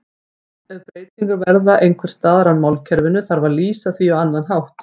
Ef breytingar verða einhvers staðar í málkerfinu þarf að lýsa því á annan hátt.